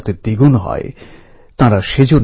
একটা টিম হিসেবে কাজ করে